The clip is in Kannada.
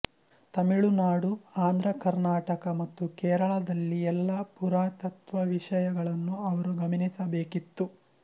ತಮಿಳುನಾಡು ಆಂಧ್ರ ಕರ್ನಾಟಕ ಮತ್ತು ಕೇರಳದಲ್ಲಿ ಎಲ್ಲ ಪುರಾತತ್ತ್ವವಿಷಯಗಳನ್ನೂ ಅವರು ಗಮನಿಸಬೇಕಿತ್ತು